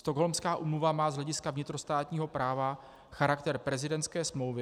Stockholmská úmluva má z hlediska vnitrostátního práva charakter prezidentské smlouvy.